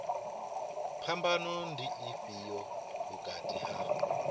phambano ndi ifhio vhukati ha